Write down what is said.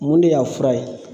Mun de y'a fura ye